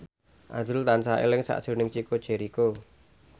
azrul tansah eling sakjroning Chico Jericho